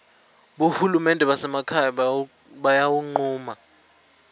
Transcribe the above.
bohulumende basemakhaya batawuncuma